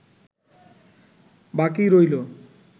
বাকি রইল